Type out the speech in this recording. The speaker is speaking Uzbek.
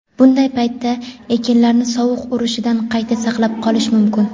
bunday paytda ekinlarni sovuq urishidan qanday saqlab qolish mumkin?.